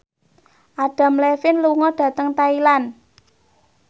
Adam Levine lunga dhateng Thailand